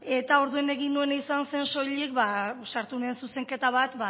orduan egin nuena izan zen soilik sartu nuen zuzenketa bat